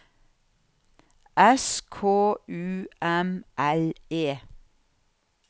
S K U M L E